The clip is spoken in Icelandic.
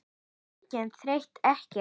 Engin þreyta, ekkert.